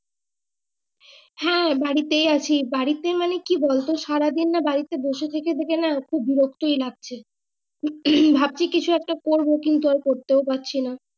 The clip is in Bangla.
হ্যাঁ বাড়িতেই আছি বাড়ি তে মানে কি বলতো সারা দিন না বসে থেকে থেকে না খুব বিরক্ত ওই লাগছে হম ভাবছি কিছু একটা করবো তাও করতেও পারছি না।